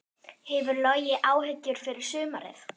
Hefur Logi áhyggjur fyrir sumarið?